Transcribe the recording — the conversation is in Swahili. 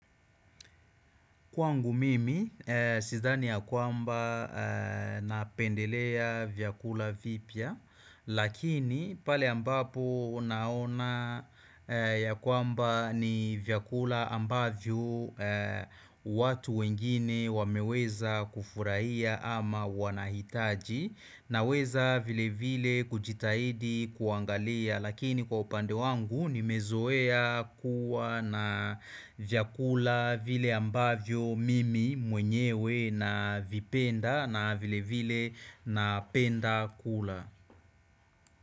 Kwangu mimi, sidhani ya kwamba napendelea vyakula vipya, lakini pale ambapo naona ya kwamba ni vyakula ambavyo watu wengine wameweza kufurahia ama wanahitaji na weza vile vile kujitahidi kuangalia lakini kwa upande wangu nimezoea kuwa na vyakula vile ambavyo mimi mwenyewe na vipenda na vile vile na penda kula.